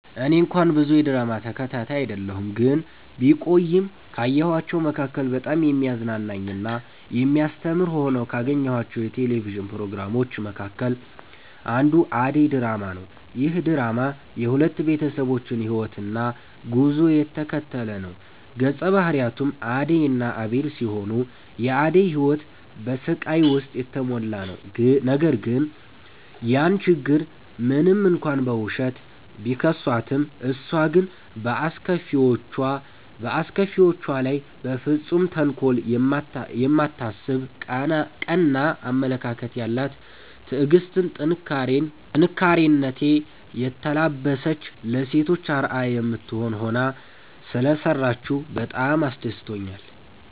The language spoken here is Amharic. እኔ እንኳን ብዙ የድራማ ተከታታይ አይደለሁ ግን ቢቆይም ካየኋቸዉ መካከል በጣም የሚያዝናና እና የሚያስተምር ሆነው ካገኘኋቸው የቴሌቪዥን ፕሮግራሞች መካከል አንዱ አደይ ድራማ ነዉ። ይህ ድራማ የሁለት ቤተሰቦችን ህይወትና ጉዞ የተከተለ ነዉ ገፀ ባህሪያቱም አደይ እና አቤል ሲሆኑ የአደይ ህይወት በስቃይ ዉስጥ የተሞላ ነዉ ነገር ግን ያን ችግር ሞንም እንኳን በዉሸት፣ ቢከሷትም እሷ ግን በአስከፊዎቿ ላይ በፍፁም ተንኮል የማታስብ ቀና አመለካከት ያላት ትዕግስትን፣ ጥንካሬኔ የተላበሰች ለሴቶች አርአያ የምትሆን ሆና ሰለሰራችዉ በጣም አስደስቶኛል።